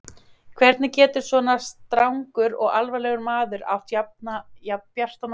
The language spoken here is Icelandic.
Hvernig getur svona strangur og alvarlegur maður átt jafn bjarta og glaða dóttur?